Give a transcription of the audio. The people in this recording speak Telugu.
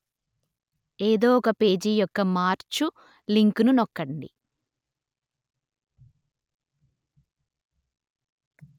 ఏదో ఒక పేజీ యొక్క మార్చు లింకును నొక్కండి